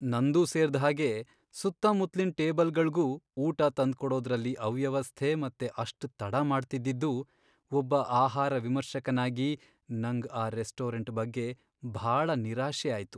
ನಂದೂ ಸೇರ್ದ್ಹಾಗೆ ಸುತ್ತಮುತ್ಲಿನ್ ಟೇಬಲ್ಗಳ್ಗೂ ಊಟ ತಂದ್ಕೊಡೋದ್ರಲ್ಲಿ ಅವ್ಯವಸ್ಥೆ ಮತ್ತೆ ಅಷ್ಟ್ ತಡ ಮಾಡ್ತಿದ್ದಿದ್ದು, ಒಬ್ಬ ಆಹಾರ ವಿಮರ್ಶಕನಾಗಿ ನಂಗ್ ಆ ರೆಸ್ಟೋರೆಂಟ್ ಬಗ್ಗೆ ಭಾಳ ನಿರಾಶೆ ಆಯ್ತು.